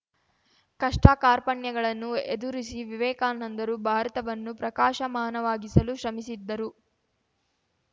ಕಷ್ಟಕಾರ್ಪಣ್ಯಗಳನ್ನು ಎದುರಿಸಿ ವಿವೇಕಾನಂದರು ಭಾರತವನ್ನು ಪ್ರಕಾಶಮಾನವಾಗಿಸಲು ಶ್ರಮಿಸಿದ್ದರು